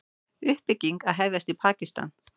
Uppbygging að hefjast í Pakistan